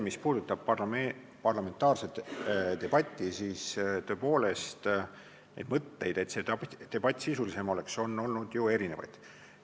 Mis puudutab parlamentaarset debatti, siis mõtteid, et see debatt võiks sisulisem olla, on olnud ju erinevaid.